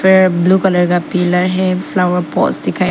है blue colour का pillar है फ्लावर पॉट्स दिखाइ --